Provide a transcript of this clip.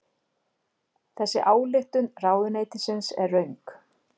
Þessi ályktun ráðuneytisins er röng